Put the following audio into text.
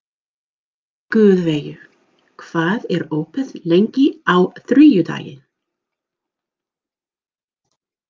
Guðveigur, hvað er opið lengi á þriðjudaginn?